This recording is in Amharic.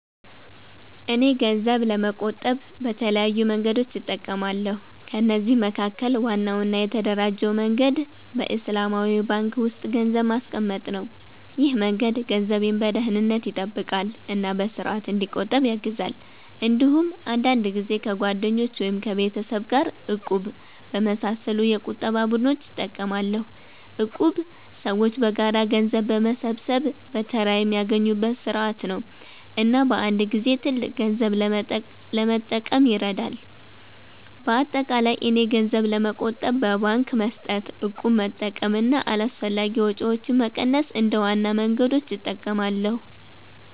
እኔ ገንዘብ ለመቆጠብ በተለያዩ መንገዶች እጠቀማለሁ። ከነዚህ መካከል ዋናው እና የተደራጀው መንገድ በእስላማዊ ባንክ ውስጥ ገንዘብ ማስቀመጥ ነው። ይህ መንገድ ገንዘቤን በደህንነት ይጠብቃል እና በስርዓት እንዲቆጠብ ያግዛል። እንዲሁም አንዳንድ ጊዜ ከጓደኞች ወይም ከቤተሰብ ጋር “እቁብ” በመሳሰሉ የቁጠባ ቡድኖች እጠቀማለሁ። እቁብ ሰዎች በጋራ ገንዘብ በመሰብሰብ በተራ የሚያገኙበት ስርዓት ነው እና በአንድ ጊዜ ትልቅ ገንዘብ ለመጠቀም ይረዳል። በአጠቃላይ እኔ ገንዘብ ለመቆጠብ በባንክ መስጠት፣ እቁብ መጠቀም እና አላስፈላጊ ወጪዎችን መቀነስ እንደ ዋና መንገዶች እጠቀማለሁ።